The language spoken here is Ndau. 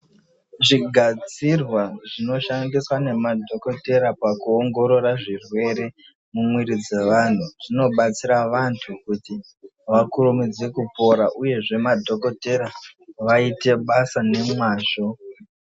Zvigadzirwa zvinoshandiswa ngemadhokodhera pakuongorora zvirwere mumuwiri dzavantu zvinobatsira vantu kuti vakurumidze kupora uyezve madhokotera vaite basa ngemazvo.